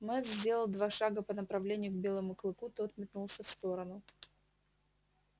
мэтт сделал два шага по направлению к белому клыку тот метнулся в сторону